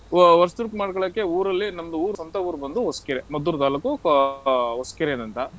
ವ~ ವರ್ಷದುಡುಕು ಮಾಡ್ಕೊಳ್ಳೋಕೆ ಊರಲ್ಲಿ ನಮ್ದು ಊರ್ ಸ್ವಂತ ಊರ್ ಬಂದು ಹೊಸ್ಕೆರೆ, ಮದ್ದೂರ್ ತಾಲ್ಲೂಕು ಆಹ್ ಹೊಸ್ಕೆರೆನಂತ.